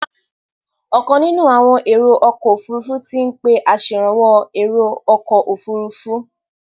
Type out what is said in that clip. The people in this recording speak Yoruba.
Ọ̀kan nínú àwọn èrò ọkọ̀ òfurufú ti ń pé aṣèrànwọ́ èrò ọkọ̀ òfurufú.